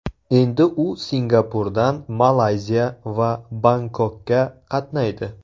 Endi u Singapurdan Malayziya va Bangkokka qatnaydi.